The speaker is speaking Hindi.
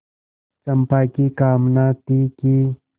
चंपा की कामना थी कि